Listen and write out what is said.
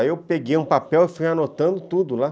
Aí eu peguei um papel e fui anotando tudo lá.